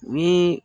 Ni